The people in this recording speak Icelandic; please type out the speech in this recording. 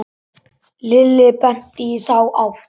Lilli benti í þá átt.